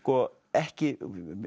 ekki